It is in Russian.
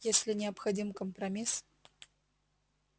если необходим компромисс